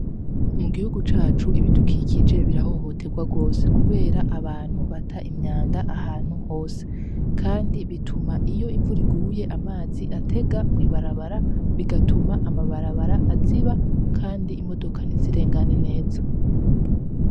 Mu gihugu cacu ibidukikije birahohotegwa gose kubera abantu bata imyanda ahantu hose, kandi bituma iyo imvura iguye amazi atega mw'ibarabara bigatuma amabarabara aziba kandi imodoka ntizirengane neza.